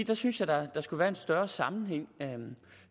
jeg synes at der skulle være en større sammenhæng